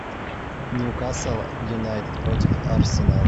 ньюкасл юнайтед против арсенал